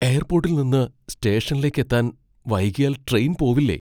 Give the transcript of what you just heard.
എയർപ്പോട്ടിൽ നിന്ന് സ്റ്റേഷനിലേക്കെത്താൻ വൈകിയാൽ ട്രെയിൻ പോവില്ലേ?